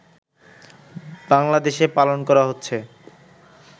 বাংলাদেশে পালন করা হচ্ছে